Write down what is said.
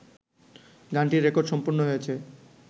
গানটির রেকর্ড সম্পন্ন হয়েছে